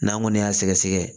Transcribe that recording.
N'an kɔni y'a sɛgɛsɛgɛ